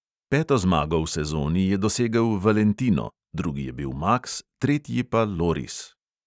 Peto zmago v sezoni je dosegel valentino, drugi je bil maks, tretji pa loris.